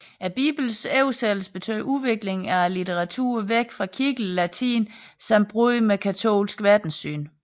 Biblens oversættelse betød udvikling af litteraturen væk fra kirkelig latin samt brud med katolsk verdenssyn